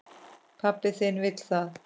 Pabbi þinn vill það.